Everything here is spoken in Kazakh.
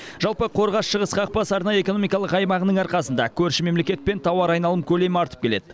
жалпы қорғас шығыс қақпасы арнайы экономикалық аймағының арқасында көрші мемлекетпен тауар айналым көлемі артып келеді